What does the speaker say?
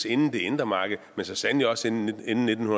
inden det indre marked men så sandelig også inden nitten